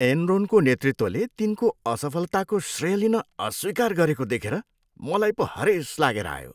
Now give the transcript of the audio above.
एनरोनको नेतृत्वले तिनको असफलताको श्रेय लिन अस्वीकार गरेको देखेर मलाई पो हरेस लागेर आयो।